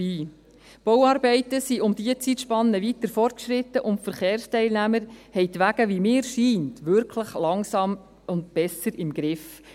Die Bauarbeiten sind um diese Zeitspanne weiter fortgeschritten und die Verkehrsteilnehmer haben die Wege – wie mir scheint – wirklich langsam besser im Griff.